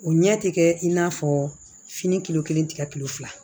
O ɲɛ tɛ kɛ in n'a fɔ fini kilo kelen tɛ kɛ kilo fila